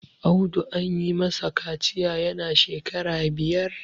Audu an yi masa kaciya yana shekara biyar